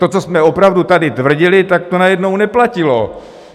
To, co jsme opravdu tady tvrdili, tak to najednou neplatilo.